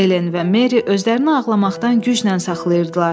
Elen və Meri özlərini ağlamaqdan güclə saxlayırdılar.